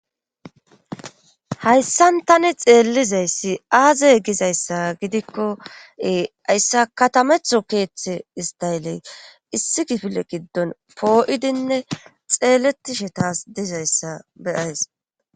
hayssan tani xeellizayssi aazey gizayssa gidikkoee hayssa katametho keeththe istayeley issi gifile giddon poo7idinne xeeletishe taas dizayssa beyays